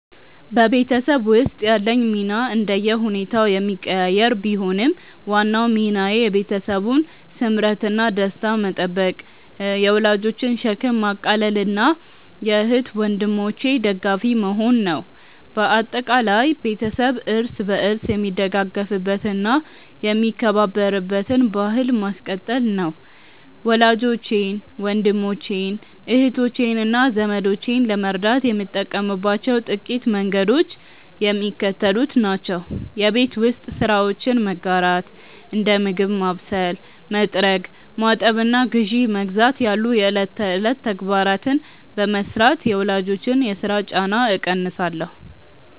በቤተሰብ ውስጥ ያለኝ ሚና እንደየሁኔታው የሚቀያየር ቢሆንም፣ ዋናው ሚናዬ የቤተሰቡን ስምረትና ደስታ መጠበቅ፣ የወላጆችን ሸክም ማቃለልና የእህት ወንድሞቼ ደጋፊ መሆን ነው። በአጠቃላይ፣ ቤተሰብ እርስ በርስ የሚደጋገፍበትና የሚከባበርበትን ባሕል ማስቀጠል ነው። ወላጆቼን፣ ወንድሞቼን፣ እህቶቼንና ዘመዶቼን ለመርዳት የምጠቀምባቸው ጥቂት መንገዶች የሚከተሉት ናቸው የቤት ውስጥ ስራዎችን መጋራት፦ እንደ ምግብ ማብሰል፣ መጥረግ፣ ማጠብና ግዢ መግዛት ያሉ የዕለት ተዕለት ተግባራትን በመሥራት የወላጆችን የሥራ ጫና እቀንሳለሁ